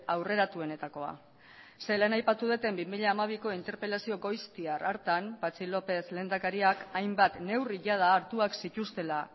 aurreratuenetakoa zeren lehen aipatu dudan bi mila hamabiko interpelazio goiztiar hartan patxi lópez lehendakariak hainbat neurri jada hartuak zituztela